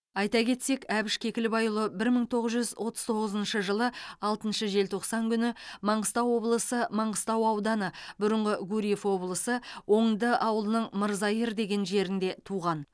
айта кетсек әбіш кекілбайұлы бір мың тоғыз жүз отыз тоғызыншы жылы алтыншы желтоқсан күні маңғыстау облысы маңғыстау ауданы бұрыңғы гурьев облысы оңды ауылының мырзайыр деген жерінде туған